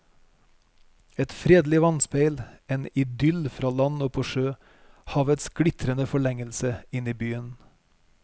Et fredelig vannspeil, en idyll fra land og på sjø, havets glitrende forlengelse inn i byen.